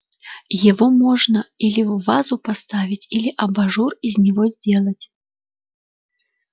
его можно или в вазу поставить или абажур из него сделать